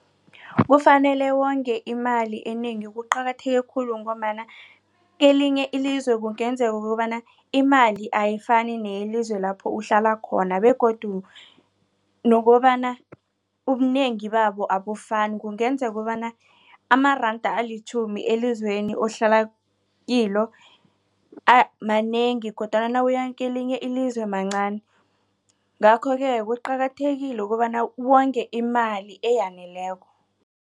Kufanele wonge imali enengi kuqakatheke khulu ngombana kelinye ilizwe kungenzeka kukobana imali ayifani neyelizwe lapho uhlala khona begodu nokobana ubunengi babo abafani kungenza kobana amaranda alitjhumi elizweni ohlala kilo manengi kodwana nawuyakelinye ilizwe mancani ngakho-ke kuqakathekile ukobana wonge imali eyaneleko.